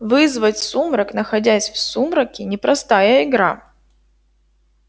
вызвать сумрак находясь в сумраке непростая игра